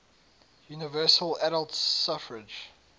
universal adult suffrage